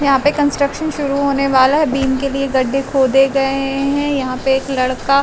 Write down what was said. यहाँ पे कॉन्स्ट्रक्शन शुरु होने वाला है। बीम के लिए गड्डे खोदे गए हैं। यहाँ पे एक लड़का --